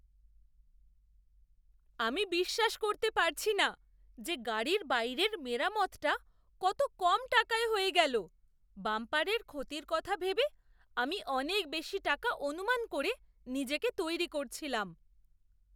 আমি বিশ্বাস করতে পারছি না যে গাড়ির বাইরের মেরামতটা কত কম টাকায় হয়ে গেল! বাম্পারের ক্ষতির কথা ভেবে আমি অনেক বেশি টাকা অনুমান করে নিজেকে তৈরি করছিলাম।